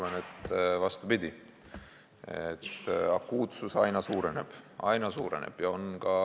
Ma arvan vastupidi, et akuutsus aina suureneb.